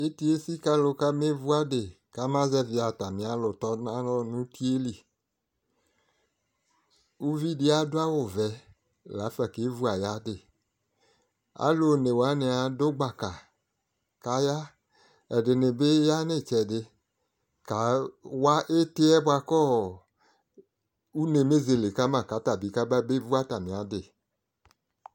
Iti esi kʋ alʋ kamevʋ adi, kama zɛvi atami alʋ tɔnalɔ nʋ uti yɛ li Uvi di adʋ awʋ vɛ la fa kevu ayadi Alʋ one wani adʋ gbaka kaya, ɛdini bi ya nʋ itsɛdi kawa iti yɛ boa kʋ une bezele kama kata bi kaba bevu atami adi